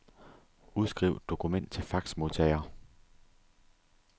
Udskriv dokument til faxmodtager.